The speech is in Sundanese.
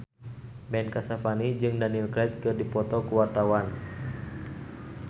Ben Kasyafani jeung Daniel Craig keur dipoto ku wartawan